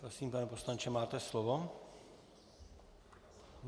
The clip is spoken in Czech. Prosím, pane poslanče, máte slovo.